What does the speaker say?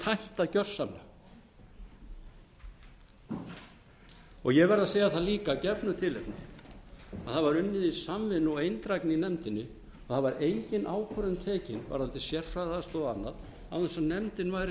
tæmt það gjörsamlega og ég verð að segja líka af gefnu tilefni að það var unnið í samvinnu og eindrægni í nefndinni og það var engin ákvörðun tekin varðandi sérfræðiaðstoð og annað án þess að nefndin væri